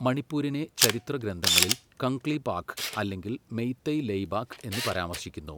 മണിപ്പൂരിനെ ചരിത്ര ഗ്രന്ഥങ്ങളിൽ കംഗ്ലീപാക് അല്ലെങ്കിൽ മെയ്തെയ് ലെയ്ബാക് എന്ന് പരാമർശിക്കുന്നു.